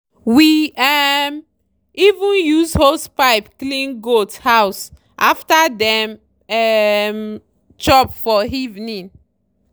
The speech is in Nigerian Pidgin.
we um even use hosepipe clean goat house after dem um chop for evening